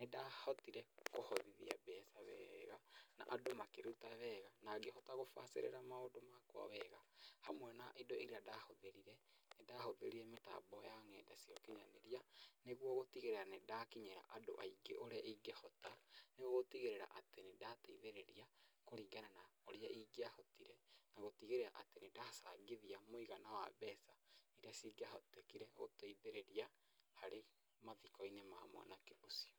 nĩndahotire kũhotthia mbeca wega na andũ makĩruta wega na ngĩhota gũbacĩrĩra maũndũ makwa wega. Hamwe na indo iria ndahũthĩrire, nĩ ndahũthĩrire mĩtambo ya nenda cia ũkinyanĩria, nĩguo gũtigĩrĩra nĩ ndakinyira andũ aingĩ ũrĩa ingĩhota, nĩguo gũtigĩrĩra atĩ nĩ ndateithĩrĩria kũringana na ũrĩa ingĩahotire, na gũtigĩrĩra atĩ nĩ ndacangithia mũigana wa mbeca iria cingĩahotekire gũteithĩrĩria harĩ mathiko-inĩ ma mwanake ũcio.